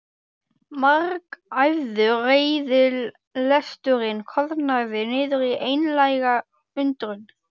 Margæfður reiðilesturinn koðnaði niður í einlæga undrun.